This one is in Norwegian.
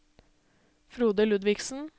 Frode Ludvigsen